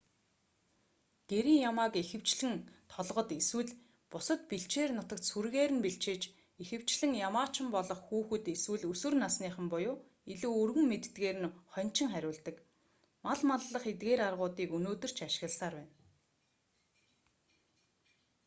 гэрийн ямааг ихэвчлэн толгод эсвэл бусад бэлчээр нутагт сүргээр нь бэлчээж ихэвчлэн ямаачин болох хүүхэд эсвэл өсвөр насныхан буюу илүү өргөн мэддэгээр нь хоньчин хариулдаг мал маллах эдгээр аргуудыг өнөөдөр ч ашигласаар байна